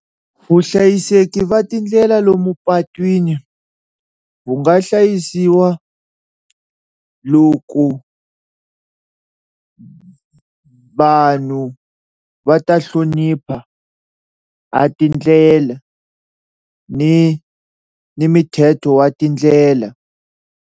Vuhlayiseki va tindlela lomu patwini wu nga hlayisiwa loko vanhu va ta hlonipha ha tindlela ni ni mithetho wa tindlela.